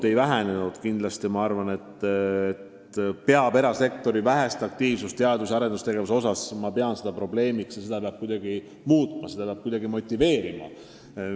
Aga me peame erasektori vähest aktiivsust teadus- ja arendustegevuse vallas probleemiks ja seda peab kuidagi muutma, ettevõtjaid peab kuidagi motiveerima.